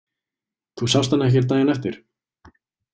Þú sást hann ekkert daginn eftir?